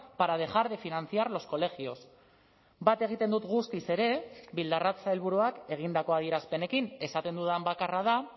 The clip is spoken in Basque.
para dejar de financiar los colegios bat egiten dut guztiz ere bildarratz sailburuak egindako adierazpenekin esaten dudan bakarra da